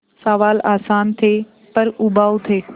सवाल आसान थे पर उबाऊ थे